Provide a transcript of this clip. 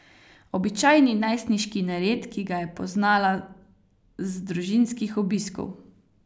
Običajni najstniški nered, ki ga je poznala z družinskih obiskov.